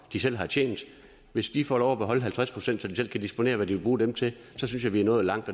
de selv har tjent hvis de får lov at beholde halvtreds pct så de selv kan disponere hvad de vil bruge dem til synes jeg vi er nået langt